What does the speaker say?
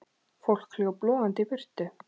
Fólk hljóp logandi í burtu.